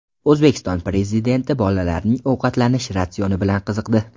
O‘zbekiston Prezidenti bolalarning ovqatlanish ratsioni bilan qiziqdi.